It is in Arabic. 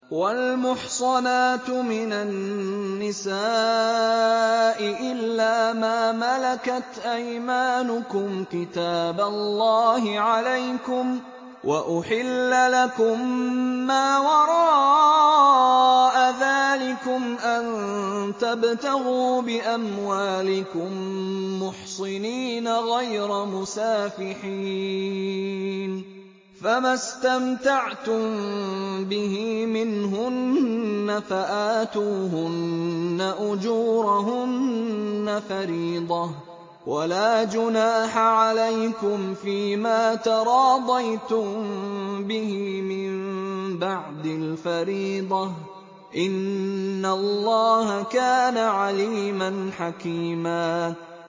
۞ وَالْمُحْصَنَاتُ مِنَ النِّسَاءِ إِلَّا مَا مَلَكَتْ أَيْمَانُكُمْ ۖ كِتَابَ اللَّهِ عَلَيْكُمْ ۚ وَأُحِلَّ لَكُم مَّا وَرَاءَ ذَٰلِكُمْ أَن تَبْتَغُوا بِأَمْوَالِكُم مُّحْصِنِينَ غَيْرَ مُسَافِحِينَ ۚ فَمَا اسْتَمْتَعْتُم بِهِ مِنْهُنَّ فَآتُوهُنَّ أُجُورَهُنَّ فَرِيضَةً ۚ وَلَا جُنَاحَ عَلَيْكُمْ فِيمَا تَرَاضَيْتُم بِهِ مِن بَعْدِ الْفَرِيضَةِ ۚ إِنَّ اللَّهَ كَانَ عَلِيمًا حَكِيمًا